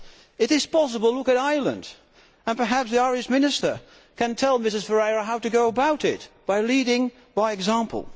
It is possible look at Ireland and perhaps the Irish Minister can tell Mrs Ferreira how to go about it, leading by example.